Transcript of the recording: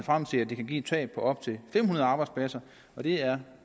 frem til at det kan give et tab på op til fem hundrede arbejdspladser og det er